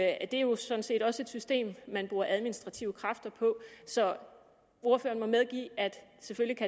at det jo sådan set også er et system man bruger administrative kræfter på så ordføreren må medgive at